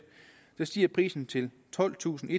der stiger prisen til tolvtusinde